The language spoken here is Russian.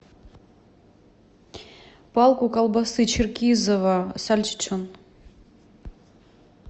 палку колбасы черкизово сальчичон